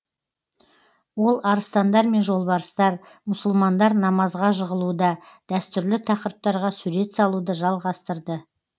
ол арыстандар мен жолбарыстар мұсылмандар намазға жығылуда дәстүрлі тақырыптарға суреттер салуды жалғастырды